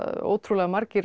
ótrúlega margir